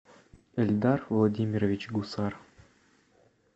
эльдар владимирович гусар